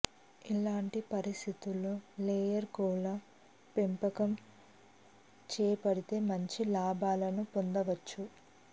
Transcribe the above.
ఇలాంటి పరిస్థితుల్లో లేయర్ కోళ్ల పెంపకం చేపడితే మంచి లాభాలను పొందవచ్చు